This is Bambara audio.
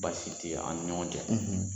Basi ti anw ni ɲɔgɔn cɛ